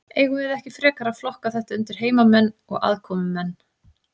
Eigum við ekki frekar að flokka þetta undir heimamenn og aðkomumenn?